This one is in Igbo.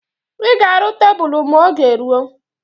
I ga-aru tebulu ma oge rụọ